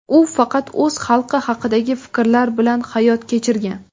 U faqat o‘z xalqi haqidagi fikrlar bilan hayot kechirgan.